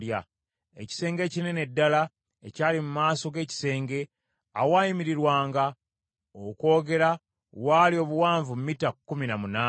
Ekisenge ekinene ddala ekyali mu maaso g’ekisenge, awaayimirirwanga okwogera waali obuwanvu mita kkumi na munaana.